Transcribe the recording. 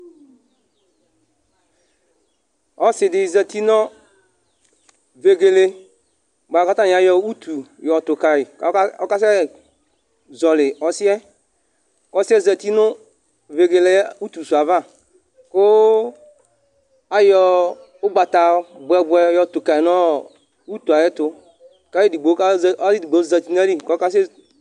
Ɔsidi zɛti nʋ vegele bʋakʋ atani ayɔ ʋtu yɔtu kayi kʋ ɔkasɛ zɔli ɔsi yɛ kʋ ɔsi yɛ zɛti nʋ vegele ʋtu si yɛ ava kʋ ayɔ ugbata bʋɛ bʋɛ yɔtu kayi nʋ ʋtu ayʋ ɛtu kʋ ayʋ ɛdigbo zɛti nʋ ayìlí kʋ ɔkasɛ